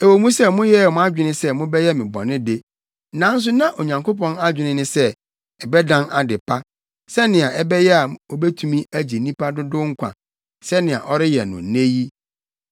Ɛwɔ mu sɛ moyɛɛ mo adwene sɛ mobɛyɛ me bɔne de, nanso na Onyankopɔn adwene ne sɛ, ɛbɛdan ade pa, sɛnea ɛbɛyɛ a obetumi agye nnipa dodow nkwa, sɛnea ɔreyɛ no nnɛ yi.